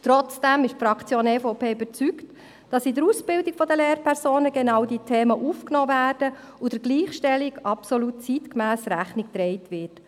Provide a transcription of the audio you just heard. Trotzdem ist die Fraktion EVP überzeugt, dass in der Ausbildung der Lehrpersonen genau diese Themen aufgenommen werden und der Gleichstellung absolut zeitgemäss Rechnung getragen wird.